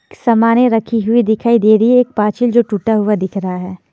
सामाने रखी हुई दिखाई दे रही है एक पाचिल जो टूटा हुआ दिख रहा है।